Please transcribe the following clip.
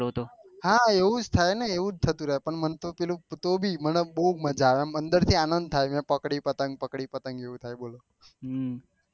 હા એવુજ થાય ને એવું થતું રેહ પણ મને તો પેલું તો ભી મને બહુ મજા આવે એમ અંદર થી આનંદ થાય મેં પક્ડીયું પતંગ પકડી પતંગ એવું થાય બોલો